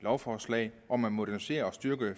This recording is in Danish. lovforslag om at modernisere og styrke